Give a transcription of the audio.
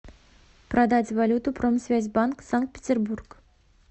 продать валюту промсвязьбанк санкт петербург